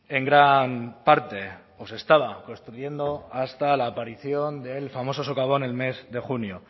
en gran parte o se estaba construyendo hasta la aparición del famoso socavón el mes de junio